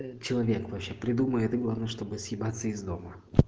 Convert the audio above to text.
человек вообще придумает главное чтобы съебаться из дома